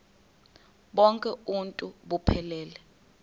bonk uuntu buphelele